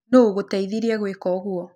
Nũ ũgũteĩthĩrĩe gwĩka ũgũo?